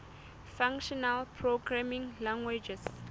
functional programming languages